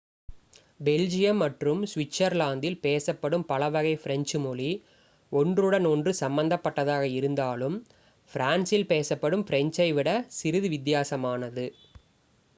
Belgium மற்றும் ஸ்விட்ஸர்லாந்தில் பேசப்படும் பலவகை ஃப்ரெஞ்சு மொழி ஒன்றுடன் ஒன்று சம்பந்தப்பட்டதாக இருந்தாலும் ஃப்ரான்ஸில் பேசப்படும் ஃப்ரெஞ்சை விட சிறிது வித்தியாசமானது